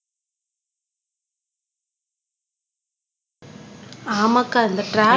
ஆமாக்கா இந்த ட்ராபிக்